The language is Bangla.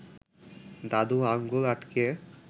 দাদু আঙুল আটকে